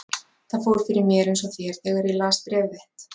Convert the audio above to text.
Það fór fyrir mér eins og þér þegar ég las bréf þitt.